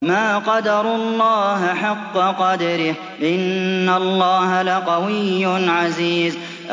مَا قَدَرُوا اللَّهَ حَقَّ قَدْرِهِ ۗ إِنَّ اللَّهَ لَقَوِيٌّ عَزِيزٌ